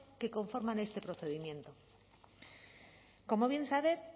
que conforman este procedimiento como bien sabe